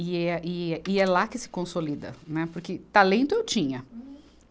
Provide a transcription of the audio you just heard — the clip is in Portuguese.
E é, e, e é lá que se consolida, né, porque talento eu tinha.